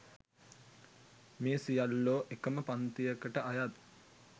මේ සියල්ලෝ එකම පංතියකට අයත්